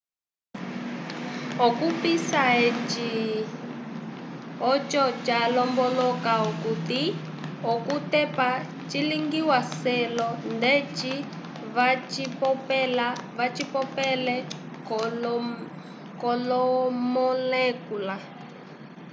okupissa eci oco calomboloka okuti okutepa cilingiwa selo ndeci vacipopele kolomolekula